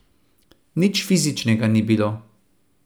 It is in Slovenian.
Nič fizičnega ni bilo.